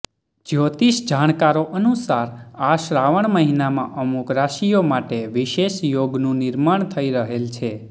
જ્યોતિષ જાણકારો અનુસાર આ શ્રાવણ મહિનામાં અમુક રાશિઓ માટે વિશેષ યોગનું નિર્માણ થઇ રહેલ છે